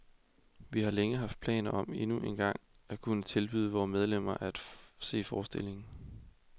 Vi har længe haft planer om endnu engang at kunne tilbyde vore medlemmer at se forestillingen.